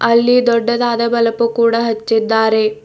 ಅಲ್ಲಿ ದೊಡ್ಡದಾದ ಬಲಪು ಕೂಡ ಹಚ್ಚಿದ್ದಾರೆ.